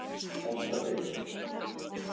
Holtabyggð